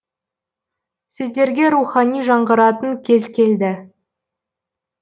сіздерге рухани жаңғыратын кез келді